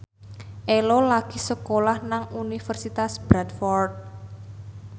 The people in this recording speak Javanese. Ello lagi sekolah nang Universitas Bradford